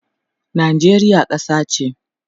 Najeriya kasa che